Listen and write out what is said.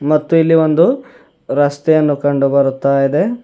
ಮತ್ತು ಇಲ್ಲಿ ಒಂದು ರಸ್ತೆಯನ್ನು ಕಂಡು ಬರುತ್ತಾ ಇದೆ.